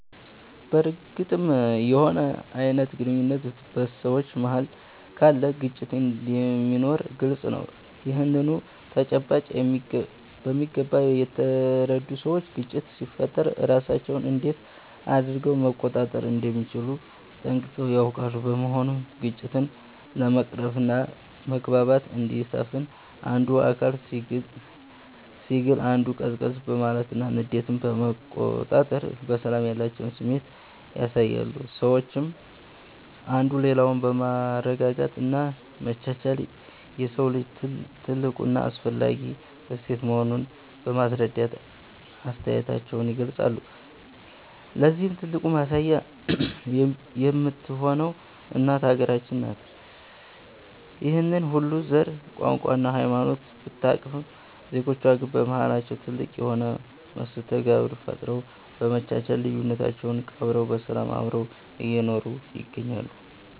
በርግጥም የሆነ አይነት ግንኙነት በ ሰዎች መሃል ካለ ግጭት እንደሚኖር ግልፅ ነው። ይህንኑ ተጨባጭ በሚገባ የተረዱ ሰዎች ግጭት ሲፈጠር ራሳቸውን እንዴት አድረገው መቆጣጠር እንደሚችሉ ጠንቅቀው ያውቃሉ። በመሆኑም ግጭትን ለመቅረፍና መግባባት እንዲሰፍን አንዱ አካል ሲግል አንዱ ቀዝቀዝ በማለትና ንዴትን በመቆጣጠር ለሰላም ያላቸውን ስሜት ያሳያሉ። ሰዎችም አንዱ ሌላውን በማረጋጋት እና መቻቻል የሰው ልጅ ትልቁ እና አስፈላጊ እሴት መሆኑን በማስረዳት አስተያየታቸውን ይገልፃሉ። ለዚህም ትልቁ ማሳያ የምትሆነው እናት ሃገራችን ነች። ይህንን ሁሉ ዘር፣ ቋንቋ እና ሃይማኖት ብታቅፍም ዜጎቿ ግን በማሃላቸው ትልቅ የሆነ መስተጋብር ፈጥረው፤ በመቻቻል ልዩነታቸውን ቀብረው በሰላም አብረው እየኖሩ ይገኛሉ።